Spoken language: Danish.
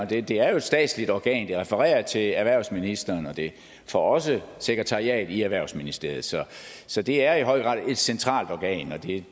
det det er jo et statsligt organ der refererer til erhvervsministeren og det får også sekretariat i erhvervsministeriet så så det er i høj grad et centralt organ og det